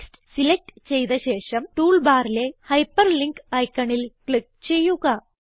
text select ചെയ്ത ശേഷം tool ബാറിലെ ഹൈപ്പർലിങ്ക് ഐക്കണിൽ ക്ലിക്ക് ചെയ്യുക